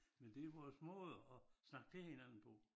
Men det vores måde at snakke til hinanden på